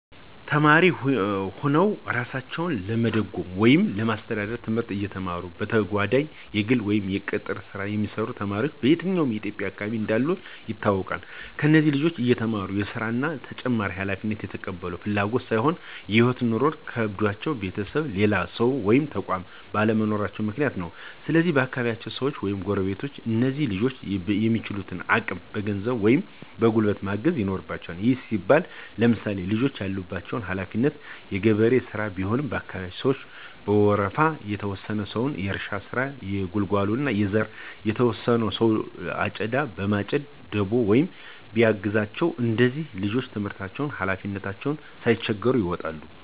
ተማሪ ሁነዉ እራሳቸዉን ለመደጎም ወይም ለማስተዳደር፤ ትምህርታቸዉን እየተማሩ በተጋጓዳኝ የግል ወይም የቅጥር ሥራ የሚሰሩ ተማሪዎች በየትኛዉም የኢትዬጵያ አካባቢ እንዳሉ ይታወቃል። እነዚህ ልጆች እየተማሩ ሥራ እና ተጨማሪ ሀላፊነት የተቀበሉት በፍላጎት ሳይሆን ህይወት (ኑሮ) ከብዷቸዉ ቤተሰብ፣ ሌላ ሰዉ ወይም ተቋማት ባለመኖራቸዉ ምክንያት ነው። ስለዚህ የአካባቢያቸዉ ሰዉ ወይም ጎረቤቶች እነዚህን ልጆች በሚችሉት አቅም በገንዘብ ወይም በጉልበት ማገዝ ይኖርበቸዋል። ይህም ሲባል ለምሳሌ፦ ልጆቹ ያለባቸው ሀለፊነት የገበሬ ሥራ ቢሆን የአካባቢያቸው ሰዉ በወረፋ፤ የተወሰነ ሰዉ የእርሻ ስራ፣ የጉልጓሎ፣ የዘር እና የተወሰነ ሰዉ አጨዳ በማጨድ በደቦ ሆኖ ቢያግዛቸዉ እነዚህ ልጆች ትምህርታቸዉንም ሀላፊነታቸዉንም ሳይቸገሩ ይወጡታል።